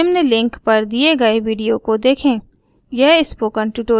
निम्न लिंक पर दिए गए वीडियो को देखें